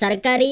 सरकारी